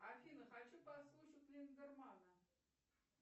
афина хочу послушать линдерманна